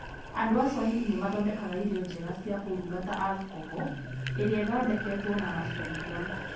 Andũ a Swahili nĩ mathondekaga irio njega cia kũruga ta "alcohol" iria ithondeketwo na macungwa.